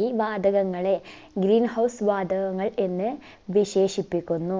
ഈ വാതകങ്ങളെ green house വാതകങ്ങൾ എന്ന് വിശേഷിപ്പിക്കുന്നു